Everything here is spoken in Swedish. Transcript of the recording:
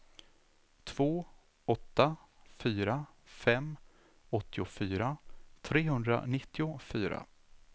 två åtta fyra fem åttiofyra trehundranittiofyra